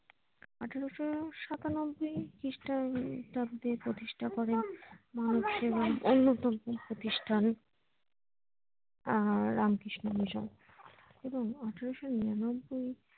আঠেরোশো সাতানব্বই খিষ্টাব্দে প্রতিষ্টা করেন মানব সেবাই অন্য কোনো প্রতিষ্টান আহ রামকৃষ্ণ মিশন এবং আঠেরোশো নিরানব্বই